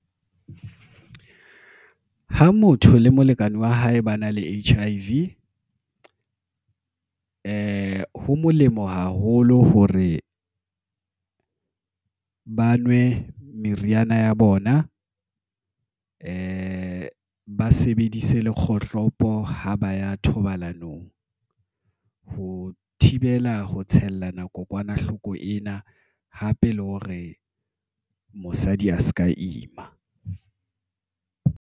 Ha motho le molekane wa hae ba na le H_I_V ho molemo haholo hore ba nwe meriana ya bona, ba sebedise kgohlopo ha ba ya ho thibela ho tshellana kokwanahloko ena hape le hore mosadi a se ka ima.